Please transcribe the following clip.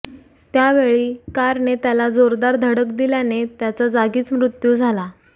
त्यावेळी कारने त्याला जोरदार धडक दिल्याने त्याचा जागीच मृत्यू झाला